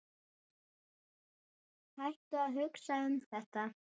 Hættu að hugsa um þetta.